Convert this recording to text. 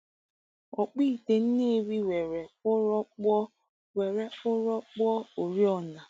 Ọkpụite Nnewi were ụrọ kpụọ were ụrọ kpụọ oriọna.